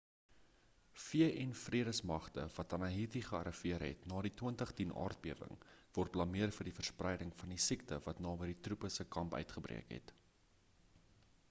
vn-vredesmagte wat in haïti gearriveer het ná die 2010-aardbewing word blameer vir die verspreiding van die siekte wat naby die troepe se kamp uitgebreek het